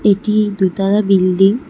এটি দুই তলা বিল্ডিং ।